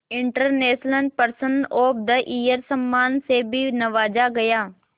international person of the year सम्मान से भी नवाजा गया